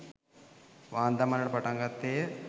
වාං දමන්නට පටන් ගත්තේය